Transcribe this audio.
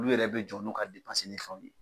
Olu yɛrɛ bɛ jɔ n'o ka ni fɛnw ye.